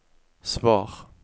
svar